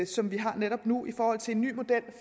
som vi har det netop nu i forhold til en ny model